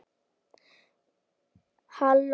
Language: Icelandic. Halló